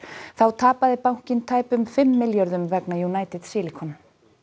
þá tapaði bankinn tæpum fimm milljörðum vegna United Silicon